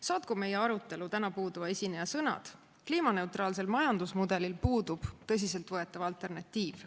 Saatku meie arutelu täna puuduva esineja sõnad: kliimaneutraalsel majandusmudelil puudub tõsiseltvõetav alternatiiv.